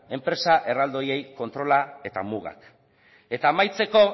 enpresa erraldoiei kontrola eta mugak eta amaitzeko